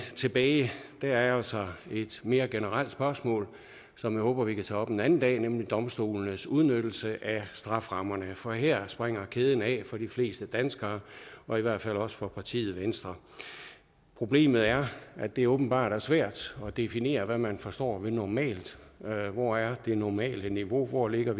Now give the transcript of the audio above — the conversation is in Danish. tilbage er altså et mere generelt spørgsmål som jeg håber vi kan tage op en anden dag nemlig domstolenes udnyttelse af strafferammerne for her springer kæden af for de fleste danskere og i hvert fald også for partiet venstre problemet er at det åbenbart er svært at definere hvad man forstår ved normalt hvor er det normale niveau hvor ligger